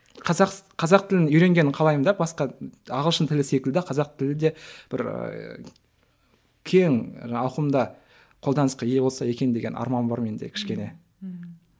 қазақ тілін үйренгенін қалаймын да басқа ағылшын тілі секілді қазақ тілі де бір ііі кең ауқымда қолданысқа ие болса екен деген арман бар менде кішкене ммм